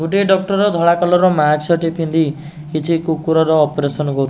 ଗୋଟିଏ ଡକ୍ଟର ଧଳା କଲର୍ ର ମାସ୍କ ଟେ ପିନ୍ଧି କିଛି କୁକୁର ର ଅପରେସନ୍ କରୁ --